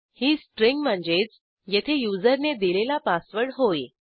ही string म्हणजेच येथे युजरने दिलेला पासवर्ड होय